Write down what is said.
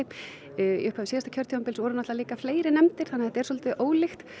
í upphafi síðasta kjörtímabils voru líka fleiri nefndir þannig að þetta er svolítið ólíkt